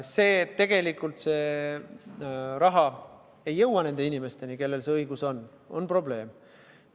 See, et tegelikult raha ei jõua nende inimesteni, kellel selleks õigus on, on probleem.